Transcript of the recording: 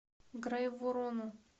грайворону